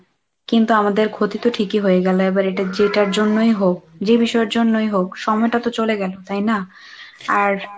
কিন্তু আমাদের ক্ষতি তো ঠিকই হয়ে গেল, এবার এটা যেটার জন্যই হোক যে বিষয়ের জন্যই হোক সময়টা তো চলে গেল তাই না? আর